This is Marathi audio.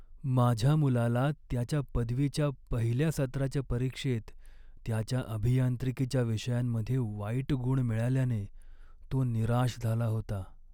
माझ्या मुलाला त्याच्या पदवीच्या पहिल्या सत्राच्या परीक्षेत त्याच्या अभियांत्रिकीच्या विषयांमध्ये वाईट गुण मिळाल्याने तो निराश झाला होता.